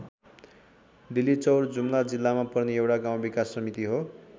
डिल्लीचौर जुम्ला जिल्लामा पर्ने एउटा गाउँ विकास समिति हो।